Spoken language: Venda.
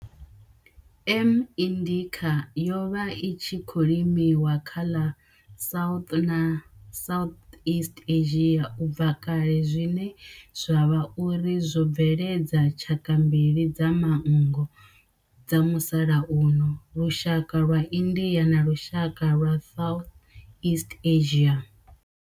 M. indica yo vha i tshi khou limiwa kha ḽa South na South east Asia ubva kale zwine zwa vha uri zwo bveledza tshaka mbili dza manngo dza musalauno lushaka lwa India na lushaka lwa Southeast Asia.